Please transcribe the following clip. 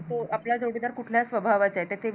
हो आपला जोडीदार कुठला स्वभावाचा आहे त्याचे विचार